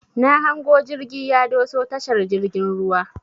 Na hango jirgi ya doso tashar jirgin ruwan.